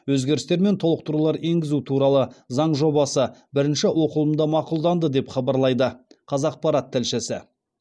өзгерістер мен толықтырулар енгізу туралы заң жобасы бірінші оқылымда мақұлданды деп хабарлайды қазақпарат тілшісі